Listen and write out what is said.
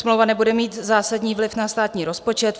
Smlouva nebude mít zásadní vliv na státní rozpočet.